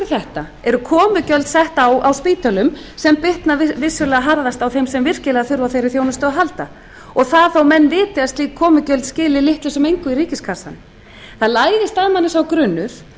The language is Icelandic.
þetta eru komugjöld sett á á spítölum sem bitna vissulega harðast á þeim sem virkilega þurfa á þeirri þjónustu að halda og það þó menn viti að slík komugjöld skili litlu sem engu í ríkiskassann það læðist að manni sá grunur